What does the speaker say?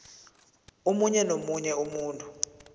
omunye nomunye umuntu